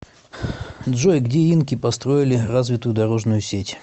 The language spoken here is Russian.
джой где инки построили развитую дорожную сеть